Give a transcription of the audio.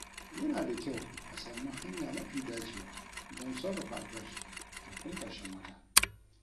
Yana da kyau a sami hanya mafi dacewa don sarrafa albashi kafin karshen wata.